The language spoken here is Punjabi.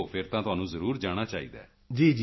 ਓਹ ਫਿਰ ਤਾਂ ਤੁਹਾਨੂੰ ਜ਼ਰੂਰ ਜਾਣਾ ਚਾਹੀਦਾ ਹੈ